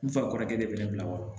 N fa kɔrɔkɛ de bɛ ne bila wa